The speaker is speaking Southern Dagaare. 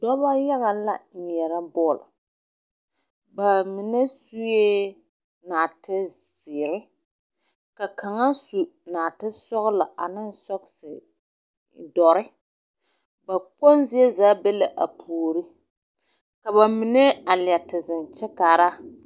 Noba yaga la ŋmeɛrɛ bɔle. Ba mine sue naate zeere ka kaŋ asu naate sɔgelɔ aneŋ sɔgese dɔre ba kpoŋ zie zaa be la a puori ka ba mine a leɛ te zeŋ kyɛ kaara.